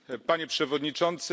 Panie Przewodniczący!